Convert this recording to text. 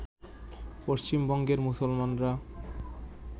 পশ্চিমবঙ্গের মুসলমানরা